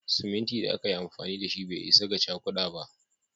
Simintin da aka yi amfani da shi bai isa ga cakuda ba